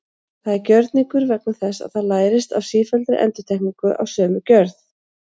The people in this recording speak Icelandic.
Það er gjörningur vegna þess að það lærist af sífelldri endurtekningu af sömu gjörð.